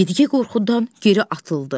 Yedi-gey qorxudan geri atıldı.